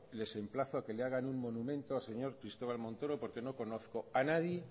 les emplazo a que le hagan un monumento al señor cristobal montoro porque no conozco a nadie